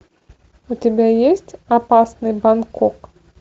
у тебя есть опасный бангкок